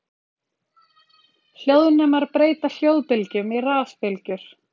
Hljóðnemar breyta hljóðbylgjum í rafbylgjur.